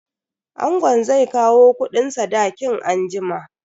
Angon zai kawo kudin sadakin anjima.